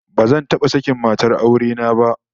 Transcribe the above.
Bazan taba sakin matar aure na ba